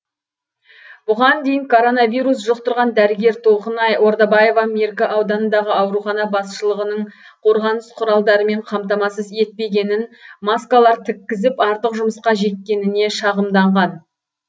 бұған дейін коронавирус жұқтырған дәрігер толқынай ордабаева меркі ауданындағы аурухана басшылығының қорғаныс құралдарымен қамтамасыз етпегенін маскалар тіккізіп артық жұмысқа жеккеніне шағымданған